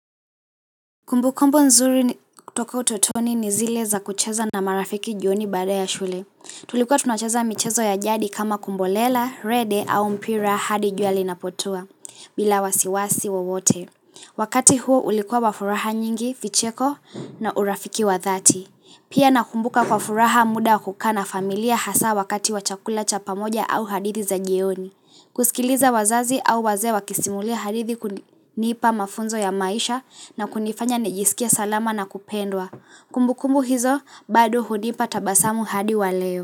Kumbu kumbu nzuri toka utotoni ni zile za kucheza na marafiki jioni baada ya shule. Tulikuwa tunacheza michezo ya jadi kama kumbolela, rede au mpira hadi jua linapotua, bila wasiwasi wowote. Wakati huo ulikuwa wa furaha nyingi, vicheko na urafiki wa dhati. Pia nakumbuka kwa furaha muda kukaa na familia hasa wakati wa chakula cha pamoja au hadithi za jioni. Kusikiliza wazazi au wazee wakisimulia hadithi kunipa mafunzo ya maisha na kunifanya nijisikie salama na kupendwa Kumbukumbu hizo, bado hunipa tabasamu hadi waleo.